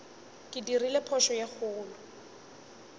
ke dirile phošo ye kgolo